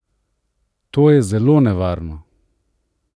To je zelo nevarno!